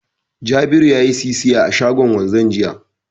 Jabiru ya yi sisiya a shagon wanzan jiya.